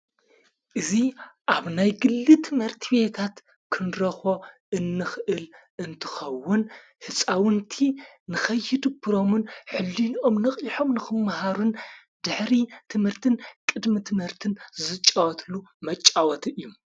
እዙ ኣብ ናይ ግሊ ትመርቲ ቤታት ክንረኾ እንኽእል እንትኸውን ሕፃውንቲ ንኸይድ ብሮምን ሕልን ኦም ነኽ ልሖም ንኽምመሃሩን ድኅሪ ትምህርትን ቅድሚ ትምህርትን ዘጫወትሉ መጫወት እዩ።